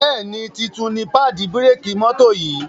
Béèni títún ní paadi bírékì mọ́tò yì.